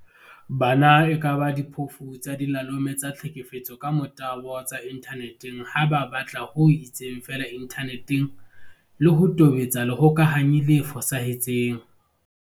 Bana e kaba diphofu tsa dilalome tsa tlhekefetso ka motabo tsa inthane teng ha ba batla ho itseng feela inthaneteng le ho tobetsa lehokanyi le fosahetseng.